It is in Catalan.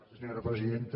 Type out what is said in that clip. senyora presidenta